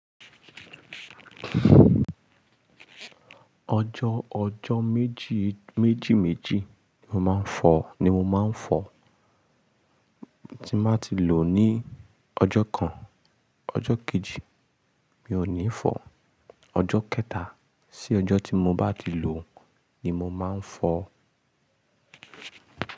Ọjọ́, ọjọ́ méjì, méjì méjì ni mo máa ń fọ, ni mo máa ń fọ. Tí máa ti lò ní ọjọ́ kan, ọjọ́ kejì mi ò ní fọ. Ọjọ́ kẹta sí ọjọ́ tí mo bá ti lò ni mo máa ń fọ.